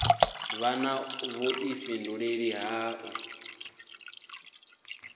vha na vhuḓifhinduleli ha u